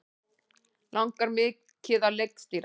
Langar mikið að leikstýra